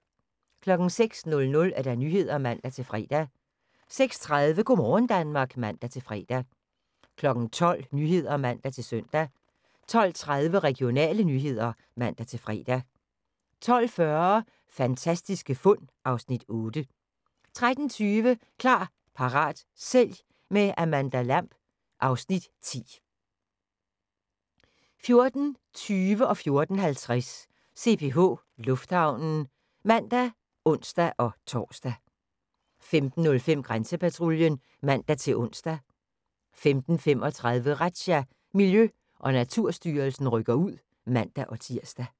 06:00: Nyhederne (man-fre) 06:30: Go' morgen Danmark (man-fre) 12:00: Nyhederne (man-søn) 12:30: Regionale nyheder (man-fre) 12:40: Fantastiske fund (Afs. 8) 13:20: Klar, parat, sælg – med Amanda Lamb (Afs. 10) 14:20: CPH Lufthavnen (man og ons-tor) 14:50: CPH Lufthavnen (man og ons-tor) 15:05: Grænsepatruljen (man-ons) 15:35: Razzia – Miljø- og Naturstyrelsen rykker ud (man-tir)